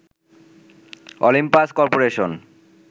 Olympus corporation